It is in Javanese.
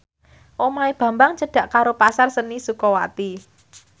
omahe Bambang cedhak karo Pasar Seni Sukawati